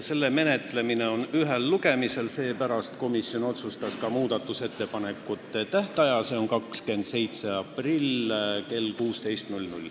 Me menetleme seda ühel lugemisel ja seepärast otsustas komisjon juba ka muudatusettepanekute tähtaja, mis on 27. aprill kell 16.